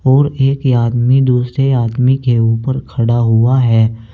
और एक आदमी दूसरे आदमी के ऊपर खड़ा हुआ है।